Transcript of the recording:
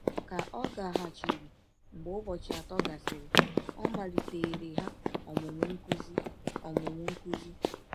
Ka ọ gaghachiri mgbe ụbọchị atọ gasịrị, ọ maliteere ha ọmụmụ nkụzi. ọmụmụ nkụzi.